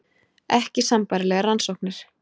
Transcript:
Ekki sambærilegar rannsóknir